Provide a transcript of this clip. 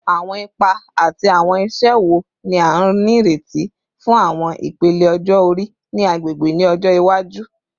Awọn ipa ati awọn iṣẹ wo ni a nireti fun awọn ipele ọjọ-ori ni agbegbe ni ọjọ iwaju?